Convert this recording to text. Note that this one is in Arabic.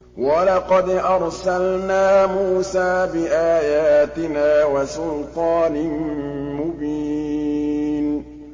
وَلَقَدْ أَرْسَلْنَا مُوسَىٰ بِآيَاتِنَا وَسُلْطَانٍ مُّبِينٍ